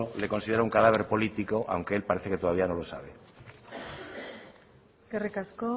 le considera un cadáver político aunque él parece que todavía no lo sabe eskerrik asko